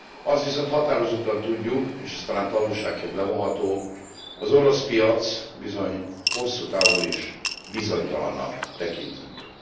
Azt viszont határozottan tudjuk és ez talán tanulságként levonható hogy az orosz piac bizony hosszú távon is bizonytalannak tekintendő.